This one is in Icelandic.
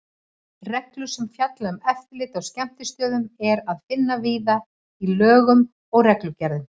Reglur sem fjalla um eftirlit á skemmtistöðum er að finna víða í lögum og reglugerðum.